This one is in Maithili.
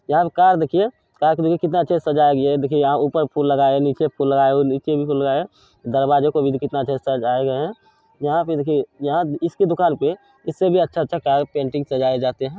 यहा कार देखिये | कार देखिये कितना अच्छा से सजाया गया है। देखिये यहाँ ऊपर फूल लगा है निचे फूल लगा है और निचे भी फूल लगा है दरवाजो को भी कितना अच्छा से सजाये गए है | यहाँ पे देखिये यहाँ इश्के दुकान पे इससे भी अच्छा अच्छा कार पेंटिंग सजाये जाते हैं ।